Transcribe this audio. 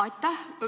Aitäh!